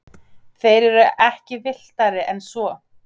þeir eru ekki villtari en svo